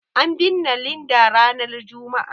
An binne Linda ranar Juma'a.